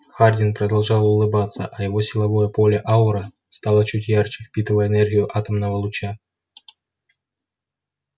хардин продолжал улыбаться а его силовое поле-аура стало чуть ярче впитывая энергию атомного луча